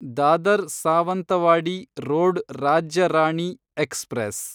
Dadar Sawantwadi road Rajya Rani express